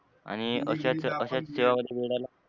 आणि अश्याच